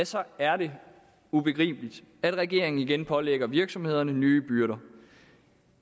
så er det ubegribeligt at regeringen igen pålægger virksomhederne nye byrder